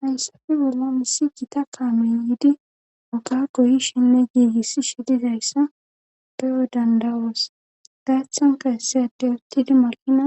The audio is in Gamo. Haysappe bollo missi gita kaamoy yiidi oga goyishinne giigiss shidizayssa bero dandawoos gaathanka essiyadey uttidi maqina